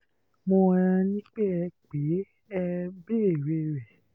mo um ní ẹ pè é e béèrè rẹ̀